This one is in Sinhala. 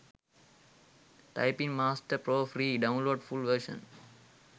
typing master pro free download full version